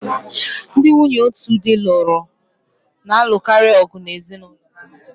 Ndị nwunye otu di lụrụ na-alụkarị ọgu na ezinụlọ ha